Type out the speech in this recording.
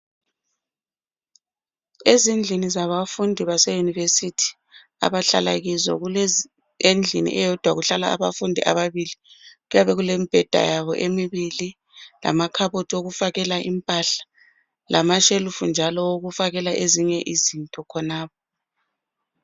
Ezindlini zabafundi baseyunivesithi abahlala kizo kule endlini eyodwa kuhlala abafundi ababili kuyabe kulemibheda yabo emibili lamakhabothi okufakela impahla lamashelufu njalo okufakela ezinye izinto khonapho.